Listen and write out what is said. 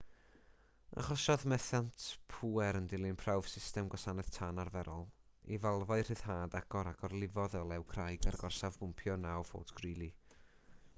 achosodd methiant pŵer yn dilyn prawf system gwasanaeth tân arferol i falfau rhyddhad agor a gorlifodd olew crai ger gorsaf bwmpio 9 fort greely